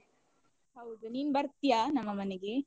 ಹೌದು, ನೀನ್ ಬರ್ತ್ಯಾ ನಮ್ಮ ಮನೆಗೆ?